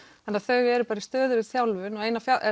þannig að þau eru bara í stöðugri þjálfun og